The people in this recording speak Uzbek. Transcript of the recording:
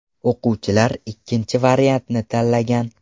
O‘quvchilar ikkinchi variantni tanlagan.